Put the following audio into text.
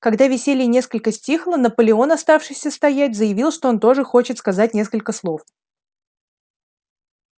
когда веселье несколько стихло наполеон оставшийся стоять заявил что он тоже хочет сказать несколько слов